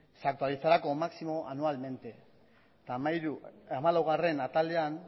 se actualizará como máximo anualmente eta hamalaugarrena atalean